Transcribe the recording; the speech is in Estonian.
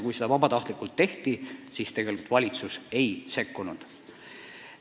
Kui seda vabatahtlikult tehti, siis valitsus ei sekkunud.